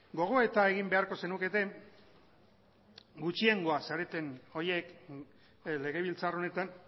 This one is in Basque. gogoeta egin beharko zenukete gutxiengoa zareten horiek legebiltzar honetan